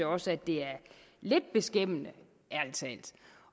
også at det er lidt beskæmmende